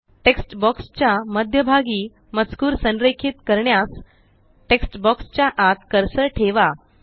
text box च्या मध्यभागी मजकूर संरेखीत करण्यास टेक्स्ट बॉक्स च्या आत कर्सर ठेवा